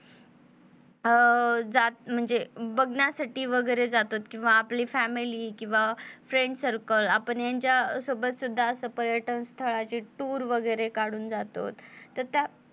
अं जात म्हणजे बघण्यासाठी वगैरे जातो किंवा आपली family किंवा आपले friend circle आपण यांच्या सोबत सुद्धा असं पर्यटन स्थळाच्या tour वगेरे काढून जातोत. तर त्यात